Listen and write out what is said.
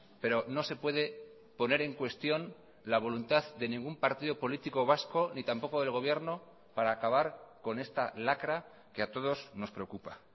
pero no se puede poner en cuestión la voluntad de ningún partido político vasco ni tampoco del gobierno para acabar con esta lacra que a todos nos preocupa